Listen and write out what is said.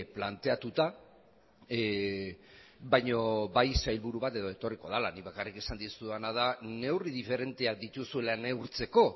planteatuta baino bai sailburu bat edo etorriko dela nik bakarrik esan dizudana da neurri diferenteak dituzuela neurtzeko